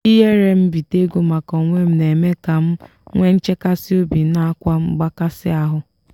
ihere mbite ego maka onwem na eme ka m nwe nchekasi obi nakwa mgbakasị ahụ.